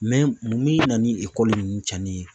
min na ni ekɔli ninnu cɛnni ye?